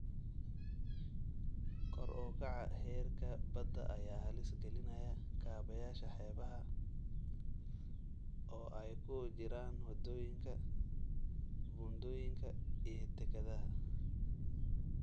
Kor u kaca heerka badda ayaa halis gelinaya kaabayaasha xeebaha, oo ay ku jiraan waddooyinka, buundooyinka iyo dekedaha.